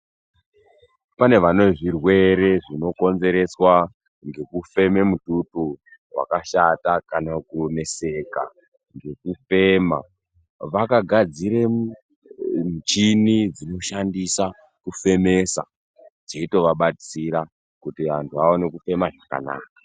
Pane vane zvirwere zvinokonzereswa ngekufeme mututu wakashata kana kuneseka ngekufema, vakagadzira muchini dzinoshandisa kufemesa, dzeitovabatsira kuti antu aone kufema zvakanaka.